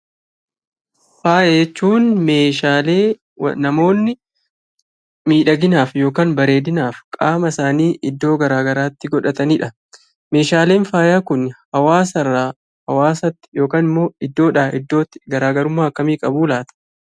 Faaya jechuun Meeshaalee namoonni miidhaginaaf yookaan bareedinaaf qaama isaanii iddoo garaagaraatti godhatanidha . Meeshaaleen faayaa Kun hawaasa irraa hawaasatti yookaan immoo iddoodhaa iddootti garaagarummaa akkamii qabuu laata?